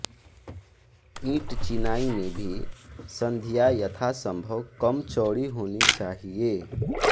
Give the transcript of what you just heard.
ईंटचिनाई में भी संधियाँ यथासंभव कम चौड़ी होनी चाहिए